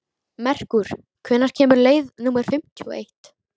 Merkúr, hvenær kemur leið númer fimmtíu og eitt?